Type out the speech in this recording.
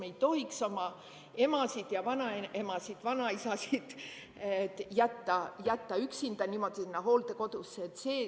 Me ei tohiks oma emasid ja vanaemasid-vanaisasid jätta niimoodi üksinda sinna hooldekodusse.